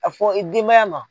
A fɔ i denmaya ma